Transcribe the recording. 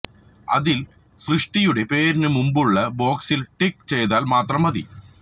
അതില് ദൃഷ്ടിയുടെ പേരിനു മുന്പുള്ള ബോക്സില് ടിക്ക് ചെയ്താല് മാത്രം മതി